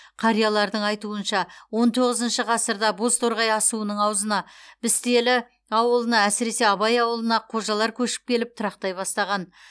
қариялардың айтуынша он тоғызыншы ғасырда бозторғай асуының аузына пістелі ауылына әсіресе абай ауылына қожалар көшіп келіп тұрақтай бастаған